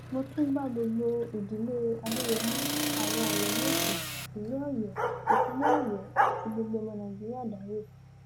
mo tún bá gbogbo ìdílé adéyẹmi àwọn ọyọmẹsì ìlú ọyọ ìpínlẹ ọyọ àti gbogbo ọmọ nàìjíríà dárò